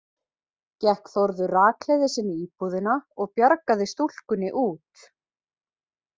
Gekk Þórður rakleiðis inn í íbúðina og bjargaði stúlkunni út.